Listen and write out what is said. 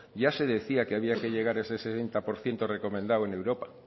ya se decía que había que llegar a ese sesenta por ciento recomendado en europa